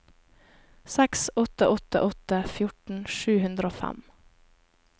seks åtte åtte åtte fjorten sju hundre og fem